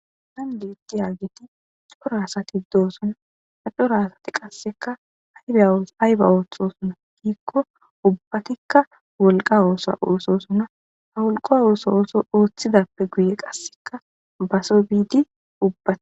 Hagan beetiyageti cora asati de'osona ha cora asati kaseka ayba oothona giiko ubathika wolka oosuwa oothosona ha wolqa oosuwa oothidape guye kaseka baso biidi ubatika.